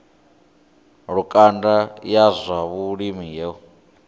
lukanda ya zwa vhulimi yo